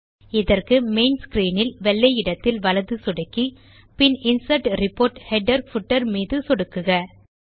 இதற்கு main screen இல் வெள்ளை இடத்தில் வலது சொடுக்கி பின் இன்சர்ட் ரிப்போர்ட் headerபூட்டர் மீதும் சொடுக்குக